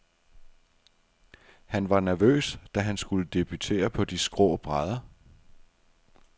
Han var nervøs, da han skulle debutere på de skrå brædder.